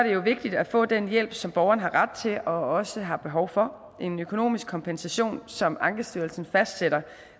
jo vigtigt at få den hjælp som borgeren har ret til og også har behov for en økonomisk kompensation som ankestyrelsen fastsætter